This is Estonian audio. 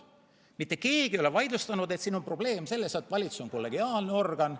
Mitte keegi ei ole seda vaidlustanud, öelnud, et siin on probleem selles, et valitsus on kollegiaalne organ.